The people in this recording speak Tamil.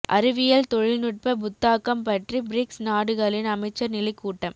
அறிவியல் தொழில் நுட்ப புத்தாக்கம் பற்றி பிரிக்ஸ் நாடுகளின் அமைச்சர் நிலை கூட்டம்